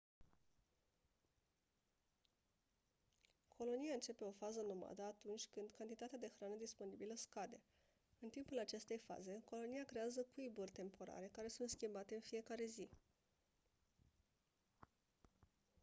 colonia începe o fază nomadă atunci când cantitatea de hrană disponibilă scade în timpul acestei faze colonia creează cuiburi temporare care sunt schimbate în fiecare zi